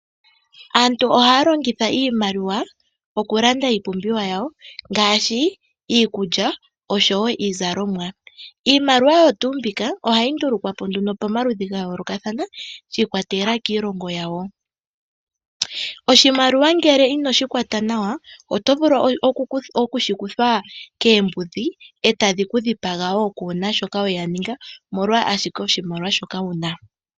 Aantu ohaya longitha iimaliwa, okulanda iipumbiwa yawo ngaashi iikulya, oshowo iizalomwa. Iimaliwa oyo tuu mbika, ohayi ndulukwa po nduno pamaludhi ga yoolokathana, shi ikwatelela kiilongo yawo. Oshimaliwa ngele inoshi kwata nawa, oto vulu okushi kuthwa koombudhi etadhi kudhipaga wo kuna shoka weya ninga, molwa owala oshimaliwa shoka wuna.